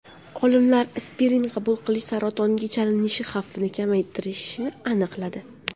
Olimlar aspirin qabul qilish saratonga chalinish xavfini kamaytirishini aniqladi.